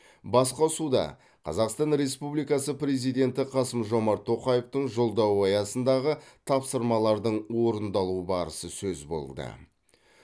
басқосуда қазақстан республикасы президенті қасым жомарт тоқаевтың жолдауы аясындағы тапсырмалардың орындалу барысы сөз болды